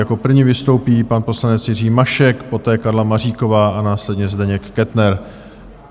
Jako první vystoupí pan poslanec Jiří Mašek, poté Karla Maříková a následně Zdeněk Kettner.